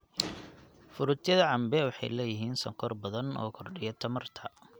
Fruityada cambe waxay leeyihiin sonkor badan oo kordhiya tamarta.